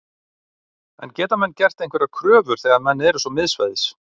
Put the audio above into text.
En geta menn gert einhverjar kröfur þegar menn eru svo miðsvæðis?